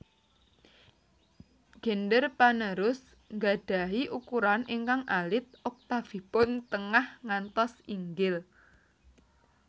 Gender panerus nggadhahi ukuran ingkang alit oktafipun tengah ngantos inggil